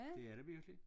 Det er det virkelig